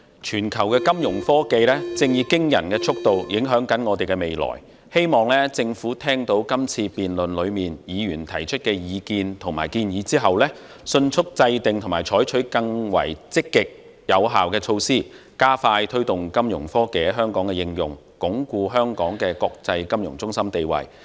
全球金融科技正以驚人速度影響着我們的未來，希望政府聽到議員在今次辯論中提出的意見和建議後，迅速制訂及採取更積極有效的措施，加快推動金融科技在香港的應用，鞏固香港的國際金融中心地位。